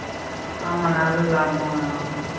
ஆமா நல்லா லாபம் வரும்